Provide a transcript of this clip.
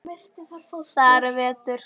Það er vetur.